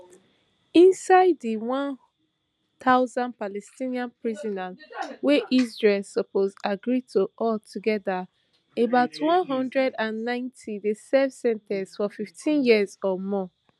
inside di one thousand palestinian prisoners wey israel suppose agree to all togeda about one hundred and ninety dey serve sen ten ces of fifteen years or more